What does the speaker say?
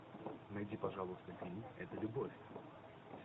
найди пожалуйста фильм это любовь